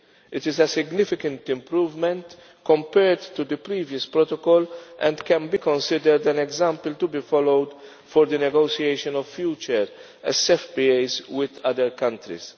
It is a significant improvement compared to the previous protocol and can be considered an example to be followed for the negotiation of future SFPAs with other countries.